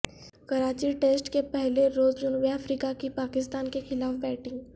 Karachi test کے پہلے روز جنوبی افریقہ کی پاکستان کے خلاف بیٹنگ